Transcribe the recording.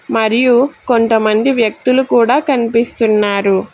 మరియు కొంతమంది వ్యక్తులు కూడా కనిపిస్తున్నారు.